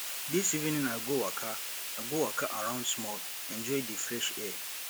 dis evening i go waka i go waka around small enjoy di fresh air